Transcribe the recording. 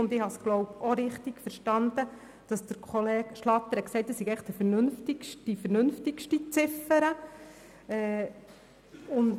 Ich glaube Kollege Schlatter richtig verstanden zu haben, als er gesagt hat, die Ziffer 5 sei die vernünftigste aller Ziffern.